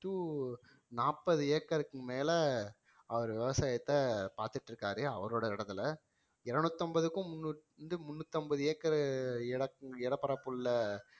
to நாற்பது acre க்கு மேலே அவர் விவசாயத்தை பார்த்துட்டு இருக்காரு அவரோட இடத்திலே இருநூத்தி ஐம்பதுக்கும் முன்னூறுக்கும் முன்னூத்தி ஐம்பது acre நிலப்பரப்புள்ள